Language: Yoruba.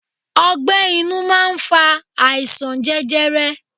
Ọgbẹ́ inú máa ń fa àìsàn jẹjẹrẹ.